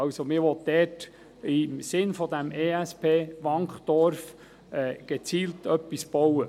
Man will also im Sinne dieses ESP Wankdorf gezielt etwas bauen.